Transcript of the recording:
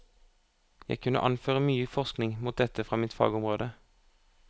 Jeg kunne anføre mye forskning mot dette fra mitt fagområde.